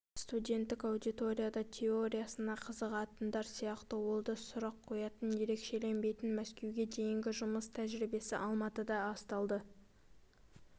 студенттік аудиторияда теориясына қызығатындар сияқты ол да сұрақ қоятын ерекшеленбейтін мәскеуге дейінгі жұмыс тәжірибесі алматыда асталды